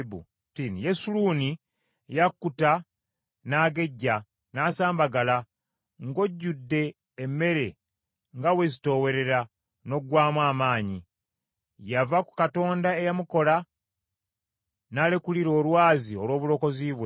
Yesuluuni yakkuta n’agejja n’asambagala; ng’ojjudde emmere nga weezitoowerera n’oggwaamu amaanyi. Yava ku Katonda eyamukola, n’alekulira Olwazi olw’Obulokozi bwe.